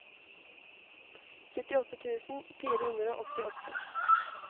syttiåtte tusen fire hundre og åttiåtte